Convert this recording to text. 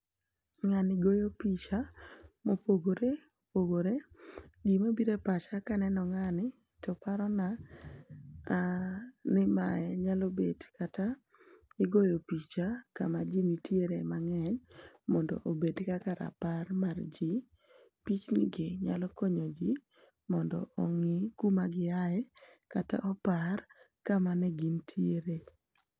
ng'ani goyo picha mopogore opogore ,gima bire pacha kaneno ngani to parona gima nyalo bet kata igoyo picha kama ji nitiere mang'eny mondo obed kaka rapar mar ji ,pich ni gi nyalo konyo ji mondo ong'e kuma gi aye kata opar kama ne gin tiere